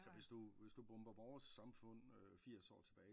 Så hvis du bomber vores samfund firs år tilbage